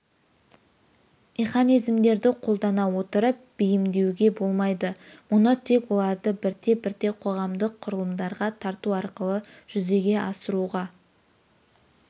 механизмдерді қолдана отырып бейімдеуге болмайды мұны тек оларды бірте-бірте қоғамдық құрылымдарға тарту арқылы жүзеге асыруға